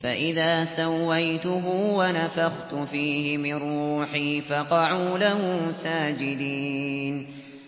فَإِذَا سَوَّيْتُهُ وَنَفَخْتُ فِيهِ مِن رُّوحِي فَقَعُوا لَهُ سَاجِدِينَ